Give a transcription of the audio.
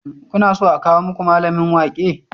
Kuna so a kawo muku mallamin waƙe?